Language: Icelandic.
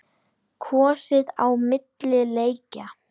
Kosið á milli leikja?